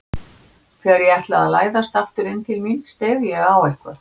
Þegar ég ætlaði að læðast aftur inn til mín steig ég á eitthvað.